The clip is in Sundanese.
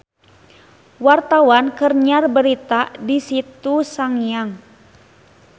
Wartawan keur nyiar berita di Situ Sangiang